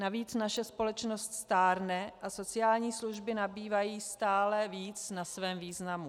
Navíc naše společnost stárne a sociální služby nabývají stále víc na svém významu.